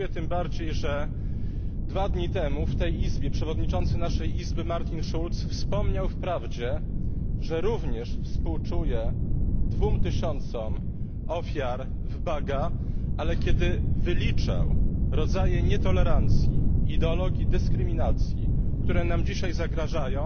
Dziękuję tym bardziej, że dwa dni temu w tej Izbie jej przewodniczący Martin Schulz wspomniał wprawdzie, że również współczuje dwóm tysiącom ofiar w Baga, ale kiedy wyliczał rodzaje nietolerancji i ideologii dyskryminacji, które nam dzisiaj zagrażają,